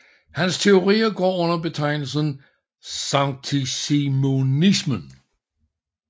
Hans teorier går under betegnelsen saintsimonismen